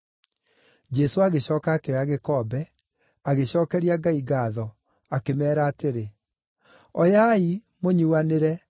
Jesũ agĩcooka akĩoya gĩkombe, agĩcookeria Ngai ngaatho, akĩmeera atĩrĩ, “Oyai, mũnyuanĩre.